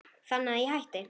Þannig að ég hætti.